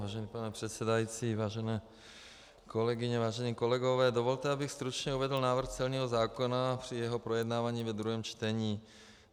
Vážený pane předsedající, vážené kolegyně, vážení kolegové, dovolte, abych stručně uvedl návrh celního zákona při jeho projednávání ve druhém čtení.